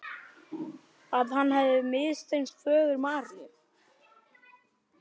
Að hann hefði misþyrmt föður Maríu.